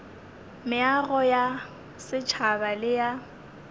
meago ya setšhaba le ya